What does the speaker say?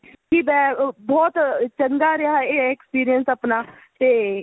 ਬਹੁਤ ਚੰਗਾ ਰਿਹਾ ਇਹ experience ਆਪਣਾ ਤੇ